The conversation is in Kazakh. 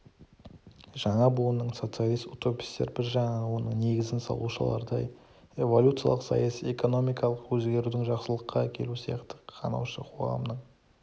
жаңа буынның социалист утопистер бір жағынан оның негізін салушылардай эволюциялық саяси-экономикалық өзгерудің жақсылыққа әкелуі сияқты қанаушы қоғамның